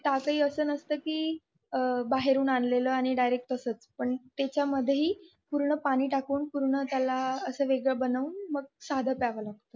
ताक हि असं नसत कि बाहेरून आणलेले आणि डायरेक्ट तसेच पण त्याच्या मध्येही पाणी टाकून पूर्ण त्यालाअसं वेगळं बनवून असं साधं प्यावं लागत